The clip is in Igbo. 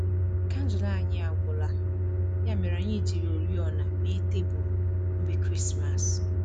Kandụl anyi agwụla, ya mere anyị jiri oriọna mee tebụl nri Krismas